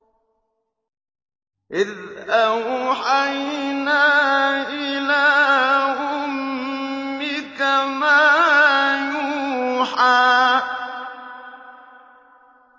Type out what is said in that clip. إِذْ أَوْحَيْنَا إِلَىٰ أُمِّكَ مَا يُوحَىٰ